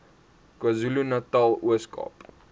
kwazulunatal ooskaap